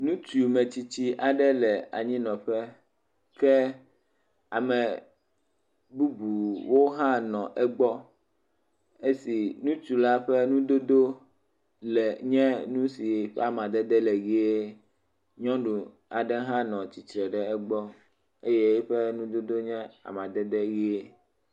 nutsu ametsitsi aɖe le anyi nɔƒe ke ame bubuwo hã nɔ egbɔ esi nutsula ƒe ŋudodó si ƒe amadede le yie nyɔnu aɖe hã nɔ tsitsre ɖe égbɔ eye éƒe nu dodó le yie